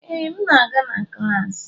Ee, m na-aga na klas